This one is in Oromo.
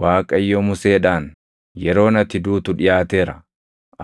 Waaqayyo Museedhaan, “Yeroon ati duutu dhiʼaateera.